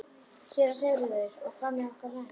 SÉRA SIGURÐUR: Og hvað með okkar menn?